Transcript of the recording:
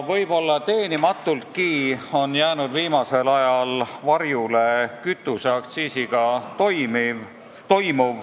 Võib-olla teenimatultki on kütuseaktsiisiga toimuv viimasel ajal varjule jäänud.